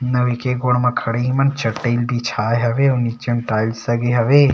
नविके गोड़ म खड़े हे ईमन ह चटई म बिछाए हवे अउ नीचे म टाइल्स लगे हवे।